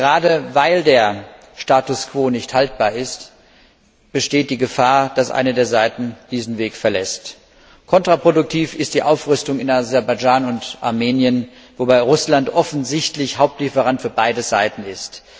Gerade, weil der Status quo nicht haltbar ist, besteht die Gefahr, dass eine der Seiten diesen Weg verlässt. Kontraproduktiv ist die Aufrüstung in Aserbaidschan und Armenien, wobei Russland offensichtlich Hauptlieferant für beide Seiten ist.